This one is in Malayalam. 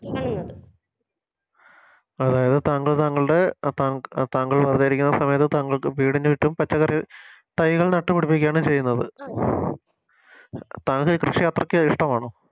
അതായത് താങ്കൾ താങ്കളുടെ അഹ് ത താങ്കൾ വെറുതെ ഇരിക്കുന്ന സമയത്ത് താങ്കൾക്ക് വീടിനു ചുറ്റും പച്ചക്കറി തൈകൾ നട്ടുപിടിപ്പിക്കുവാണ് ചെയ്യുന്നത് താങ്കൾ കൃഷി അത്രക്ക് ഇഷ്ടമാണോ